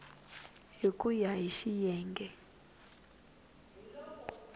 hi ku ya hi xiyenge